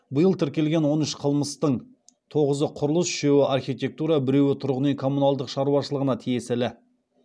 биыл тіркелген он үш қылмыстың тоғызы құрылыс үшеуі архитектура біреуі тұрғын үй коммуналдық шаруашылығына тиесілі